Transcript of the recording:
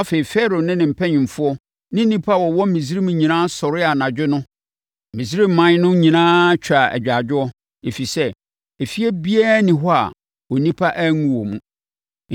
Afei, Farao ne ne mpanimfoɔ ne nnipa a wɔwɔ Misraim nyinaa sɔree anadwo no. Misraiman no nyinaa twaa agyaadwoɔ, ɛfiri sɛ, efie biara nni hɔ a onipa anwu wɔ mu.